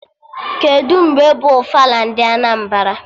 Kedụ mgbe bụ ofala ndị Anambra?